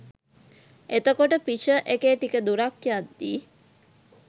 එතකොට පිචර් එකේ ටික දුරක් යද්දි